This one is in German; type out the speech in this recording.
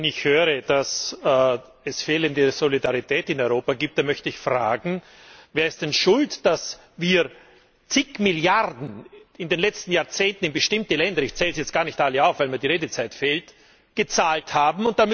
Wenn ich höre, dass es fehlende Solidarität in Europa gibt, dann möchte ich fragen Wer ist denn Schuld, dass wir zig Milliarden in den letzten Jahrzehnten in bestimmte Länder ich zähle sie jetzt gar nicht alle auf, weil mir die Redezeit fehlt gezahlt haben?